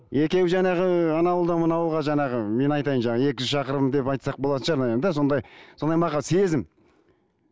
екеуі жаңағы ана ауылдан мына ауылға жаңағы мен айтайын жаңағы екі жүз шақырым деп айтсақ болатын шығар наверное да сезім